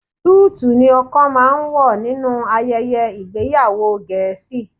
Súùtù ni ọkọ máa ń wọ̀ nínú ayẹyẹ ìgbéyàwó Gẹ̀ẹ́sì